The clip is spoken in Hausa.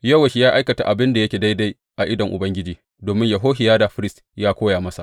Yowash ya aikata abin da yake daidai a idon Ubangiji domin Yehohiyada firist ya koya masa.